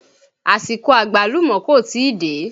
Àsìkò Àgbálùmọ́ kò tíì dé.